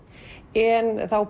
en þá